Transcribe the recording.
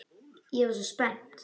Ég var svo spennt.